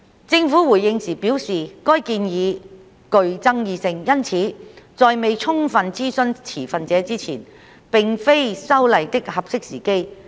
政府回應時表示，該建議具爭議性，因此在未充分諮詢持份者之前，並非修例的"合適時機"。